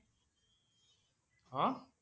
হা?